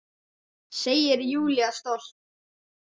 Segir Júlía stolt.